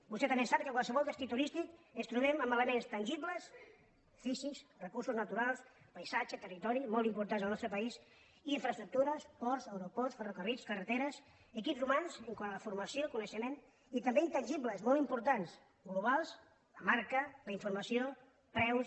vostè també sap que a qualsevol destí turístic ens trobem amb elements tangibles físics recursos naturals paisatge territori molt importants en el nostre país i infraestructures ports aeroports ferrocarrils carreteres equips hu·mans quant a la formació coneixement i també intan·gibles molt importants globals la marca la informa·ció preus